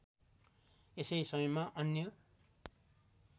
यसै समयमा अन्य